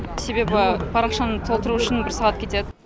себебі парақшаны толтыру үшін бір сағат кетеді